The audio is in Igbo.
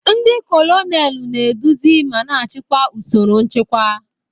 Ndi kolonelu na-eduzi ma na-achịkwa usoro nchịkwa.